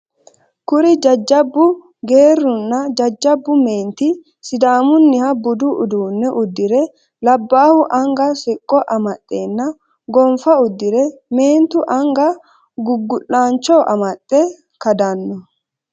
Kuri jajjabbu geerruinna jajjabbu meenti Sidamunniha budu uduunne uddire labbahu anga soqqo amaxenna gonfa huddire meentu anga gugu'lancho amaxe kadanno.